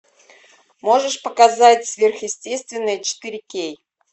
можешь показать сверхъестественное четыре кей